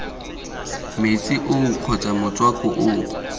metsi oo kgotsa motswako oo